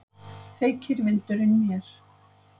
Feykir vindurinn mér.